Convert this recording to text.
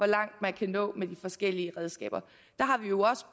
langt man kan nå med de forskellige redskaber